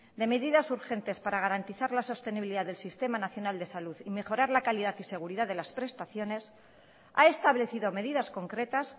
de medidas urgentes para garantizar la sostenibilidad del sistema nacional de salud y mejorar la calidad y seguridad de las prestaciones ha establecido medidas concretas